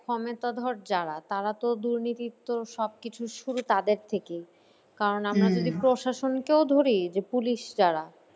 ক্ষমতাধর যারা তারা তো দুর্নীতির তো সব কিছুর শুরু তাদের থেকেই কারণ আমরা যদি প্রশাসনকেও ধরি যে police যারা